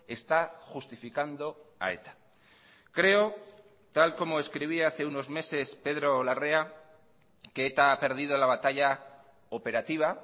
está justificando a eta creo tal como escribía hace unos meses pedro larrea que eta ha perdido la batalla operativa